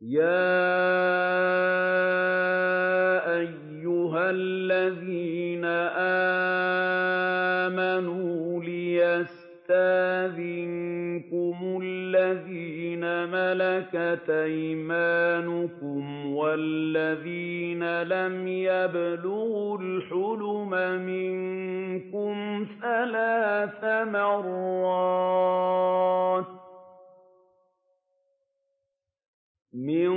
يَا أَيُّهَا الَّذِينَ آمَنُوا لِيَسْتَأْذِنكُمُ الَّذِينَ مَلَكَتْ أَيْمَانُكُمْ وَالَّذِينَ لَمْ يَبْلُغُوا الْحُلُمَ مِنكُمْ ثَلَاثَ مَرَّاتٍ ۚ مِّن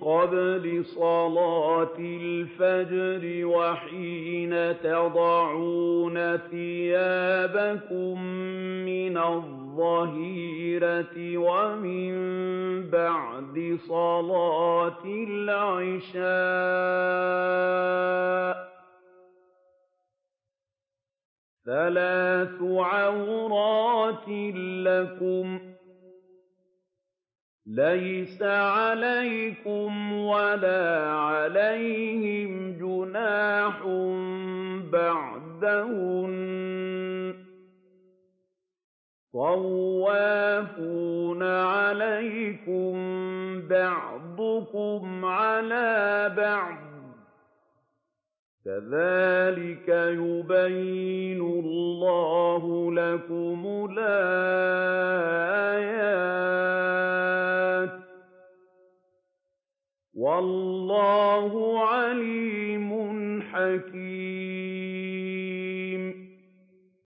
قَبْلِ صَلَاةِ الْفَجْرِ وَحِينَ تَضَعُونَ ثِيَابَكُم مِّنَ الظَّهِيرَةِ وَمِن بَعْدِ صَلَاةِ الْعِشَاءِ ۚ ثَلَاثُ عَوْرَاتٍ لَّكُمْ ۚ لَيْسَ عَلَيْكُمْ وَلَا عَلَيْهِمْ جُنَاحٌ بَعْدَهُنَّ ۚ طَوَّافُونَ عَلَيْكُم بَعْضُكُمْ عَلَىٰ بَعْضٍ ۚ كَذَٰلِكَ يُبَيِّنُ اللَّهُ لَكُمُ الْآيَاتِ ۗ وَاللَّهُ عَلِيمٌ حَكِيمٌ